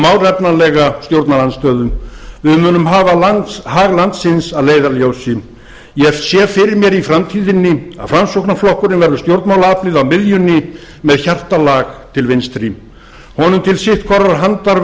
málefnalega stjórnarandstöðu við munum hafa hag landsins að leiðarljósi ég sé fyrir mér í framtíðinni að framsóknarflokkurinn verður stjórnmálaaflið á miðjunni með hjartalag til vinstri honum til sitt hvorrar handar